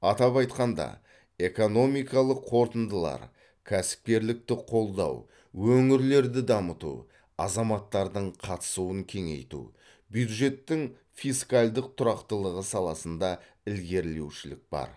атап айтқанда экономикалық қорытындылар кәсіпкерлікті қолдау өңірлерді дамыту азаматтардың қатысуын кеңейту бюджеттің фискалдық тұрақтылығы саласында ілгерілеушілік бар